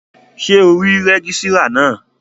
Ṣé ò rí rẹ́gísírà náà?